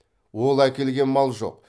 ол әкелген мал жоқ